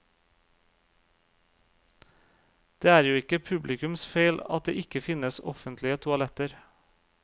Det er jo ikke publikums feil at det ikke finnes offentlige toaletter.